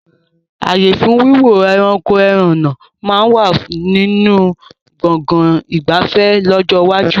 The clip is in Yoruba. Ààyè fún Wíwo ẹranko ẹhànnà máa ma wà nínú Gbọ̀ngán ìgbafẹ́ lọ́jọ́ iwájú